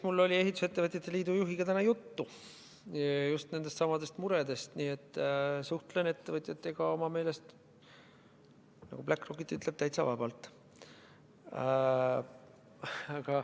Mul oli Eesti Ehitusettevõtjate Liidu juhiga täna juttu just nendest samadest muredest, nii et suhtlen ettevõtjatega oma meelest – nagu Bläck Rokit ütleb – täitsa vabalt.